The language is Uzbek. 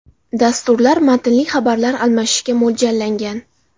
Dasturlar matnli xabarlar almashishga mo‘ljallangan.